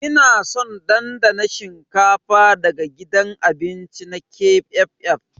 Ina son dandana shinkafa daga gidan abinci na KFF.